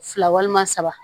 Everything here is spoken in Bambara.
Fila walima saba